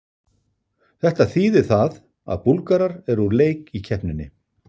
Þetta þýðir það að Búlgarar eru úr leik í keppninni.